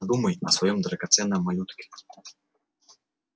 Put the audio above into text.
подумай о своём драгоценном малютке